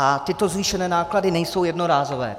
A tyto zvýšené náklady nejsou jednorázové.